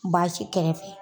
Baasi kɛrɛfɛ.